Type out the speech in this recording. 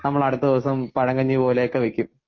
നമ്മൾ അടുത്ത ദിവസം പഴങ്കഞ്ഞി പോലെ ഒക്കെ വയ്ക്കും.